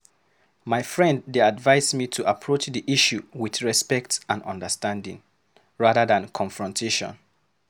My friend dey advise me to approach the issue with respect and understanding, rather than confrontation.